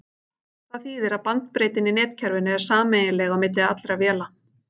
Það þýðir að bandbreiddin í netkerfinu er sameiginleg á milli allra véla.